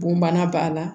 Bon bana b'a la